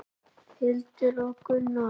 Hildur og Gunnar.